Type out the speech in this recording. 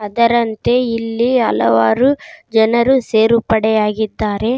ಅದರಂತೆ ಇಲ್ಲಿ ಹಲವಾರು ಜನರು ಸೇರುಪಡೆ ಆಗಿದ್ದಾರೆ.